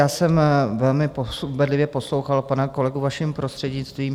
Já jsem velmi bedlivě poslouchal pana kolegu, vaším prostřednictvím.